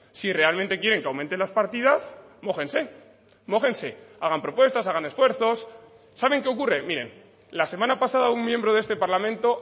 si realmente quieren que aumenten las partidas mójense mójense hagan propuestas hagan esfuerzos saben que ocurre miren la semana pasada un miembro de este parlamento